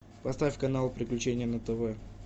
поставь канал приключения на тв